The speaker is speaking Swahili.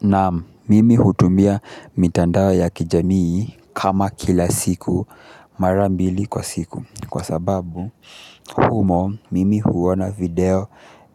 Naam, mimi hutumia mitandao ya kijamii kama kila siku mara mbili kwa siku kwa sababu humo mimi huona video